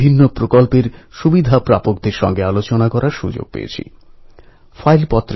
লোকমান্য তিলক সাহস আর আত্মবিশ্বাসে বলীয়ান ছিলেন